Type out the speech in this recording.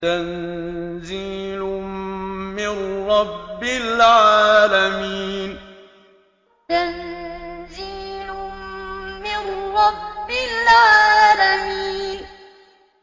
تَنزِيلٌ مِّن رَّبِّ الْعَالَمِينَ تَنزِيلٌ مِّن رَّبِّ الْعَالَمِينَ